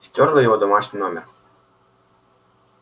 стёрла его домашний номер